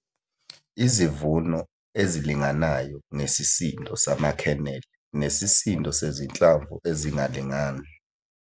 Izivuno ezilinganayo ngesisindo sama-kernel nesisindo sezinhlamvu ezingalingani